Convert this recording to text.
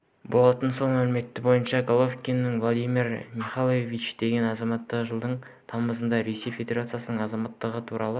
болатын сол мәлімет бойынша головатюк владимир михайлович деген азамат жылдың тамызында ресей федерациясының азаматтық туралы